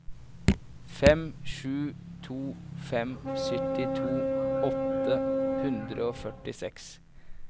fem sju to fem syttito åtte hundre og førtiseks